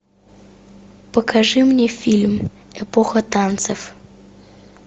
покажи мне фильм эпоха танцев